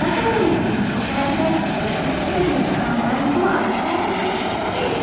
Bakka kanatti immoo kan argaa jirru shunkurtaa diimaa, mangoo, abuukaado kan ta'edha.